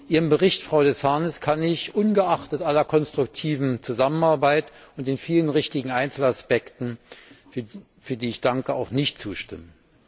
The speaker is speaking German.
Ihrem Bericht, Frau de Sarnez, kann ich ungeachtet aller konstruktiven Zusammenarbeit und der vielen richtigen Einzelaspekte, für die ich danke, nicht zustimmen.